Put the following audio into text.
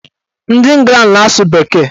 Ndị Ịngland na-asụ bekee.